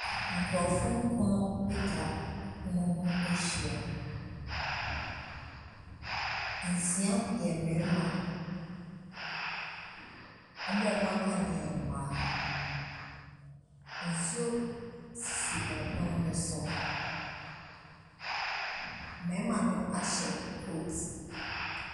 Nkurɔfoɔ nkron atwa pono ho ahyia. Nsia yɛ mmarima. Wɔn a wɔaka no yɛ mmaa. Nsuo sisi pono no so. Mmarima no ahyɛ coat.